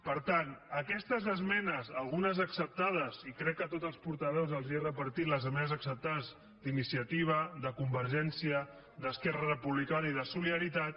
per tant aquestes esmenes algunes acceptades i crec que a tots els portaveus els he repartit les esmenes acceptades d’iniciativa de convergència d’esquerra republicana i de solidaritat